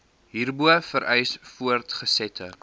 hierbo vereis voortgesette